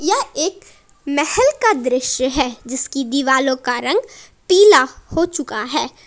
यह एक महल का दृश्य है जिसकी दिवालों का रंग पीला हो चुका है।